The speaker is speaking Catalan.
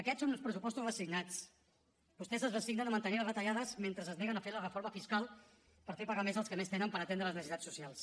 aquests són uns pressupostos resignats vostès es resignen a mantenir les retallades mentre es neguen a fer la reforma fiscal per fer pagar més els que més tenen per atendre les necessitats socials